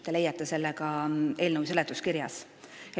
Te leiate selle ka eelnõu seletuskirjast.